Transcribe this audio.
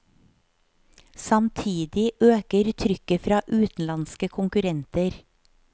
Samtidig øker trykket fra utenlandske konkurrenter.